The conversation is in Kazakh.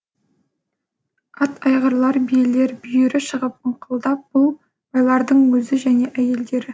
ат айғырлар биелер бүйірі шығып ыңқылдап бұл байлардың өзі және әйелдері